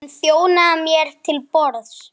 Hún þjónaði mér til borðs.